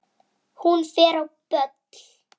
Hún fer á böll!